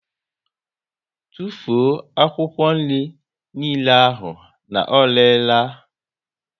Tụfuo akwụkwọ niile ahụ na ọ rere la!